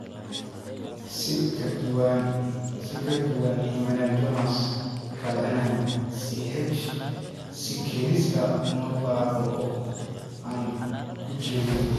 Si ka duwan hemangiomas kale, NICH si kedis ah uma baaba'o (aan ku jirin).